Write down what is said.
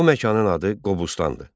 Bu məkanın adı Qobustandır.